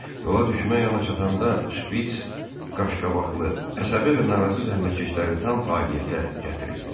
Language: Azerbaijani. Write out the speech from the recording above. Yola düşmək anı çatanda şpits qaşqabaqlı, əsəbi və narazı zəhmətkeşləri tam fəaliyyətə gətirirdi.